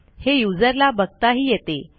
हे युजरला बघताही येते